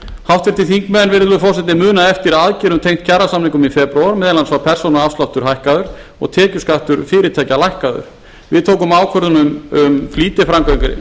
háttvirtir þingmenn virðulegur forseti muna eftir aðgerðum tengdar kjarasamningum í febrúar meðal annars var persónuafsláttur hækkaður og tekjuskattur fyrirtækja lækkaður við tókum ákvörðun um flýtiframkvæmdir